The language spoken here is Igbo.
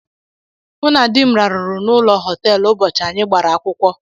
Mụ na dị m rarụrụ n'ụlọ họteelu ụbọchị anyị gbara akwụkwọ.